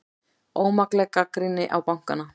Ómakleg gagnrýni á bankana